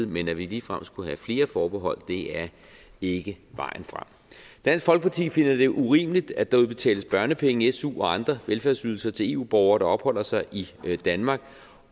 men at vi ligefrem skulle have flere forbehold er ikke vejen frem dansk folkeparti finder det urimeligt at der udbetales børnepenge su og andre velfærdsydelser til eu borgere der opholder sig i danmark